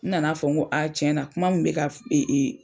N nana fɔ n ko a tiɲɛ na kuma min bɛ ka